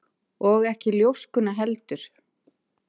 Og ekki ljóskuna heldur.